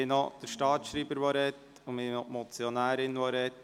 Nun sind noch der Staatsschreiber und die Motionärin an der Reihe.